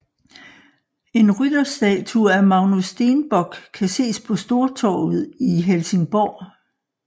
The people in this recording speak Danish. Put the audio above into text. En rytterstatue af Magnus Stenbock kan ses på Stortorget i Helsingborg